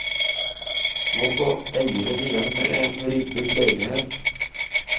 Nå står eieren igjen med en ribbet leilighet.